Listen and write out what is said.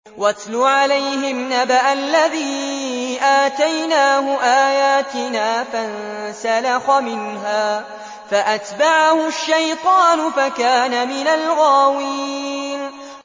وَاتْلُ عَلَيْهِمْ نَبَأَ الَّذِي آتَيْنَاهُ آيَاتِنَا فَانسَلَخَ مِنْهَا فَأَتْبَعَهُ الشَّيْطَانُ فَكَانَ مِنَ الْغَاوِينَ